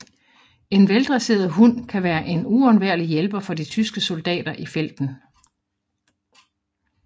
En veldresseret hund kan være en uundværlig hjælper for de tyske soldater i felten